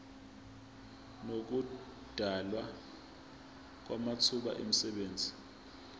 nokudalwa kwamathuba emisebenzi